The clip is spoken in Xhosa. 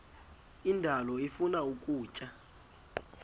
indalo ifuna ukutya